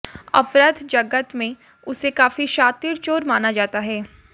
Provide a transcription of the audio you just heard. अपराध जगत में उसे काफी शातिर चोर माना जाता है